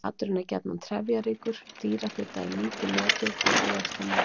Maturinn er gjarnan trefjaríkur, dýrafita er lítið notuð en ávextir mikið.